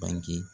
Bange